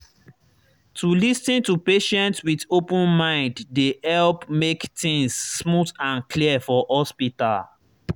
to lis ten to patient with open mind dey help make things smooth and clear for hospital.